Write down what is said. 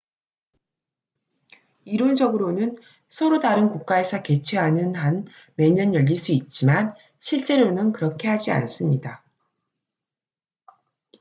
이론적으로는 서로 다른 국가에서 개최하는 한 매년 열릴 수 있지만 실제로는 그렇게 하지 않습니다